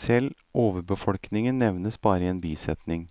Selv overbefolkningen nevnes bare i en bisetning,